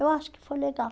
Eu acho que foi legal.